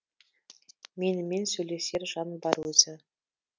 менімен сөйлесер жан бар өзі